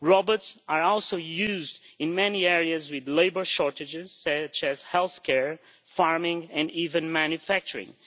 Robots are also used in many areas with labour shortages such as healthcare, farming and even manufacturing.